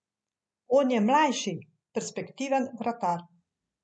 On je mlajši, perspektiven vratar.